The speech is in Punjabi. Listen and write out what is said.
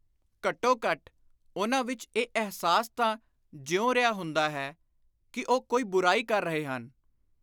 ਘੱਟੋ ਘੱਟ ਉਨ੍ਹਾਂ ਵਿਚ ਇਹ ਅਹਿਸਾਸ ਤਾਂ ਜਿਉ ਰਿਹਾ ਹੁੰਦਾ ਹੈ ਕਿ ਉਹ ਕੋਈ ਬੁਰਾਈ ਕਰ ਰਹੇ ਹਨ।